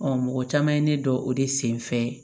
mɔgɔ caman ye ne dɔn o de sen fɛ